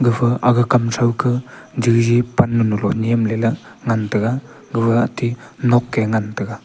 gafa agey kam tho ka jeji pan moloh nyamle la ngan tega gaga atey nok ke ngan tega.